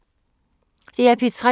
DR P3